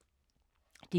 DR K